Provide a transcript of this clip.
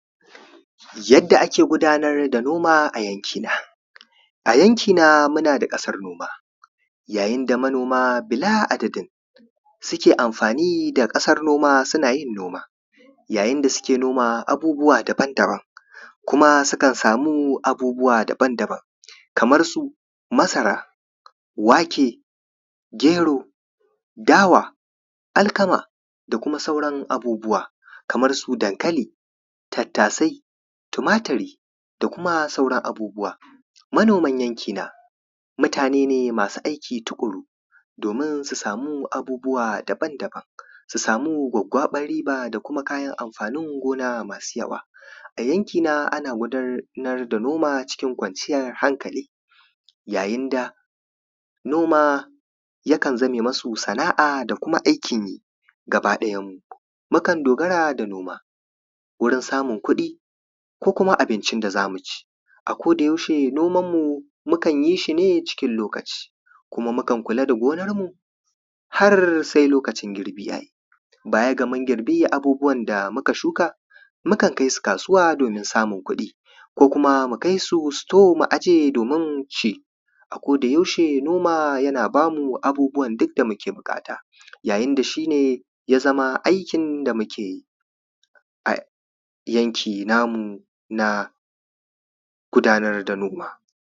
yadda ake gudanar da noma a yanki na yanki na munada kasan noma yayin da manoma bila adadin suke amfani da kasan noma sunayin noma inda suke noma abubuwa daban daban kuma sukan samu abubuwa daban daban kamar su masara wake gero dawa alkama da kuma sauran abubuwa Kaman su dankali tattasai tumaturi da kuma sauran abubuwa manoman yanki na mutane masu aiki tukuru domin su samu abubuwa daban daban su samu gwaggwaban riba da kuma amfanin gona masu yawa a yanki na ana gudanar da noma cikin kwanciyar hankali ya yinda noma yakan zame masu sana’a da kuma aikin yi gaba dayan mu mukan dogara da noma wurin samun kudi ko kuma abincin da zamuci a koda yaushe noman mu mukan yishi ne cikin lokaci kuma mukan kula da gonar mu har sai lokacin girbi yayi baya gamun girbi abbuwan da muka shuka mukan kaisu kasuwa domin samun kudi ko kuma mu kaisu suto mu aje domin ci a koda yaushe noma yana bamu abubuwan duk da muke bukata ya yinda shine yazama aikin da mukeyi a yanki namu na gudanar da noma